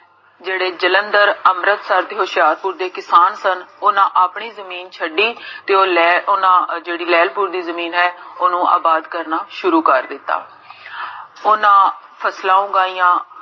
ਜੇਹੜੇ ਜਲੰਧਰ, ਅੰਮ੍ਰਿਤਸਰ ਤੇ ਹੋਸ਼ਿਆਰਪੁਰ ਦੇ ਕਿਸਾਨ ਸਨ, ਓਨਾ ਆਪਣੀ ਜਮੀਨ ਛੱਡੀ, ਤੇ ਓਹ, ਓਹਨਾ ਜੇਹੜੀ ਲੇਹ੍ਲਪੁਰ ਦੀ ਜੇਹੜੀ ਜਮੀਨ ਹੈ, ਓਨੁ ਆਬਾਦ ਕਰਨਾ, ਸ਼ੁਰੂ ਕਰ ਦਿੱਤਾ ਓਹਨਾ ਫਸਲਾਂ ਉਗਾਈਆਂ